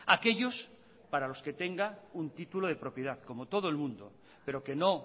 aquellos para los que tenga un título de propiedad como todo el mundo pero que no